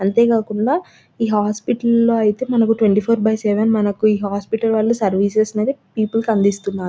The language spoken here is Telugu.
అంటే కాకుండా ఈ హాస్పిటల్ లో అయితే మనకు ట్వీన్త్య్ ఫోర్ బై సెవెన్ మనకి ఈ హాస్పిటల్ వాలు సర్వీసెస్ అందిస్తున్నారు--